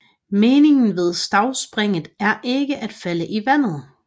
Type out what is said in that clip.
Meningen ved stavspringet er ikke at falde i vandet